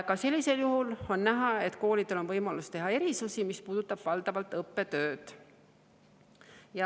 Ka sellisel juhul on koolidel võimalus teha erisusi, mis puudutavad valdavalt õppetööd.